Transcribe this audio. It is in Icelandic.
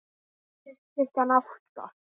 Fyrir klukkan átta?